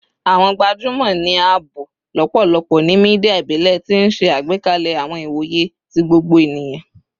Awọn gbajumọ ni a bo lọpọlọpọ ni media ibile, ti n ṣe agbekalẹ awọn iwoye ti gbogbo eniyan